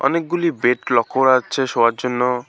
অনেকগুলি বেড লক্ষ্য করা যাচ্ছে শোয়ার জন্য।